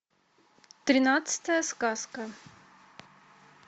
тринадцатая сказка